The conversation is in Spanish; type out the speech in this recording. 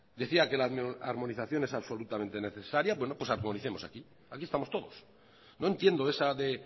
decía que la armonización es absolutamente necesaria bueno pues armonicemos aquí aquí estamos todos no entiendo esa de